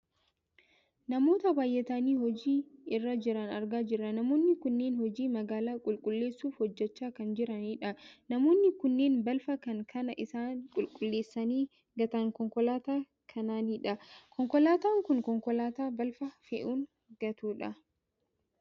Namoota baayyatanii hojii irra jiran argaa jirra namoonni kunneen hojii magaalaa qulqulleessuu hojjachaa kan jiranidha. Namoonni kunneen balfa kan kan isaan qulqulleessanii gatan konkolaataa kanaanidha. Konkolaataan kun konkolaataa balfa fe'uun gatudha.